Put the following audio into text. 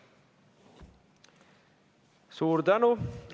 Suur tänu!